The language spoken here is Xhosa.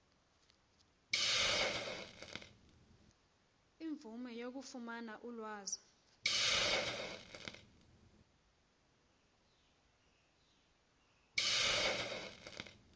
imvume yokufumana ulwazi